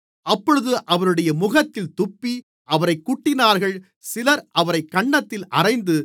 அப்பொழுது அவருடைய முகத்தில் துப்பி அவரைக் குட்டினார்கள் சிலர் அவரைக் கன்னத்தில் அறைந்து